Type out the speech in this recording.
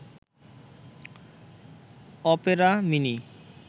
Opera mini